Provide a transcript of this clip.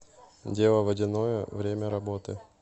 дело водяное время работы